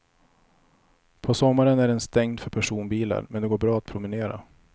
På sommaren är den stängd för personbilar, men det går bra att promenera.